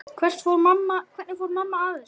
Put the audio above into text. Hvernig fór mamma að þessu?